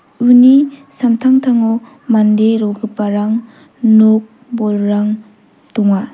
uni samtangtango mande rogiparang nok bolrang donga.